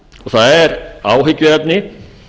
það er áhyggjuefni